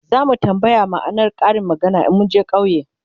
zamu tambaya ma'anar Karin maganar in munje ƙauye